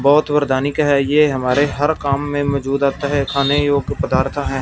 बहोत वरदानी है ये हमारे हर काम में मौजूद रहता है खाने योग्य पदार्थ है।